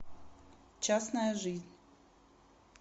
частная жизнь